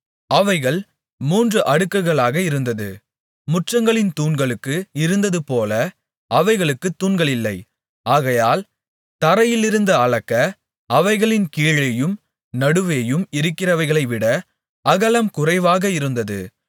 அவைகள் மூன்று அடுக்குகளாக இருந்தது முற்றங்களின் தூண்களுக்கு இருந்ததுபோல அவைகளுக்குத் தூண்களில்லை ஆகையால் தரையிலிருந்து அளக்க அவைகள் கீழேயும் நடுவேயும் இருக்கிறவைகளைவிட அகலம் குறைவாக இருந்தது